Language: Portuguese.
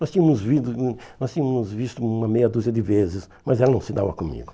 Nós tínhamos visto hum nós tínhamos visto uma meia dúzia de vezes, mas ela não se dava comigo.